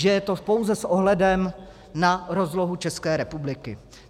Že je to pouze s ohledem na rozlohu České republiky.